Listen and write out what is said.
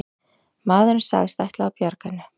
Maðurinn sagðist ætla að bjarga henni